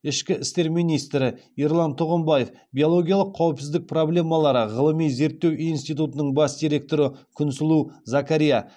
ішкі істер министрі ерлан тұғымбаев биологиялық қауіпсіздік проблемалары ғылыми зерттеу институтының бас директоры күнсұлу закарья